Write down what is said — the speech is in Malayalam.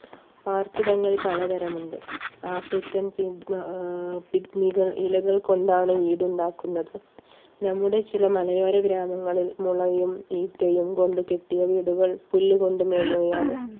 ആർപ്പിടങ്ങൾ പലതരമുണ്ട് ആഫ്രിക്കൻ പിക്നികൾ ഇലകൾ കൊണ്ടാണ് വീട് ഉണ്ടാക്കുന്നത് നമ്മുടെ ചില മലയാള ഗ്രാമങ്ങളിൽ മുളയും ഈച്ചയും കൊണ്ട് കെട്ടിയ വീടുകൾ പുല്ലുകൊണ്ട് മേഞ്ഞവയാണ്